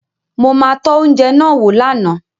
Mo ma tọ́ oúnjẹ náà wò lánàá